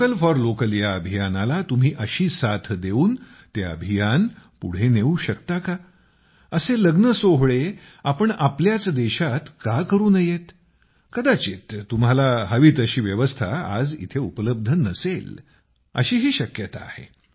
vocal for local या अभियानाला तुम्ही अशी साथ देऊन ते अभियान पुढे नेऊ शकता का असे लग्न सोहळे आपण आपल्याच देशात का करू नयेत कदाचित तुम्हाला हवी तशी व्यवस्था आज इथे उपलब्ध नसेल अशीही शक्यता आहे